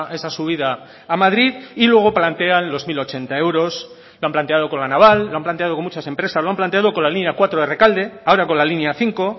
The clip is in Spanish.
esa subida a madrid y luego plantean los mil ochenta euros lo han planteado con la naval lo han planteado con muchas empresas lo han planteado con la línea cuatro de rekalde ahora con la línea cinco